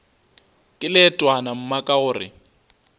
ke leetwana mma ka gore